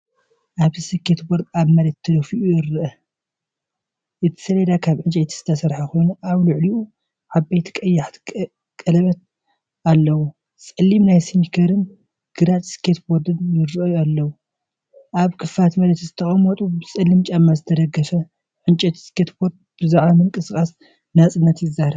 ኣብዚ ስኬትቦርድ ኣብ መሬት ተደፊኡ ይረአ። እቲ ሰሌዳ ካብ ዕንጨይቲ ዝተሰርሐ ኮይኑ ኣብ ልዕሊኡ ዓበይቲ ቀያሕቲ ቀለቤት ኣለዎ። ጸሊም ናይ ስኒከርን ግራጭ ስኬትቦርድ ይራኣዩ ኣለው። ኣብ ክፉት መሬት ዝተቐመጠ ብጸሊም ጫማ ዝተደገፈ ዕንጨይቲ ስኬትቦርድ ብዛዕባ ምንቅስቓስ ናጽነት ይዛረብ።